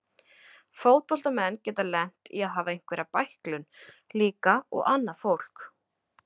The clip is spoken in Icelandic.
Fótboltamenn geta lent í að hafa einhverja bæklun líka og annað fólk.